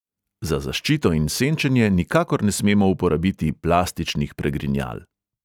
Za zaščito in senčenje nikakor ne smemo uporabiti plastičnih pregrinjal.